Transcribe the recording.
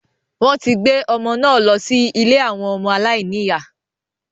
Wọ́n ti gbé ọmọ náà lọ sí ilé àwọn ọmọ aláìní ìyá